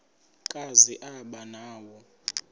kazi aba nawo